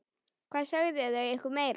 Hvað sögðu þau ykkur meira?